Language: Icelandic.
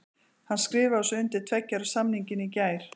Hann skrifaði svo undir tveggja ára samningin í gær.